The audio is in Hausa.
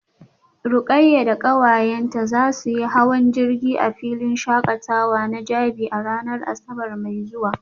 Rukayyah da kawayenta za su yi hawan jirgi a filin shakatawa na jabi a ranar asabar mai zuwa